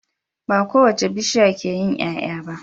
Ba kowace bishiya ke yin Y'ay'a ba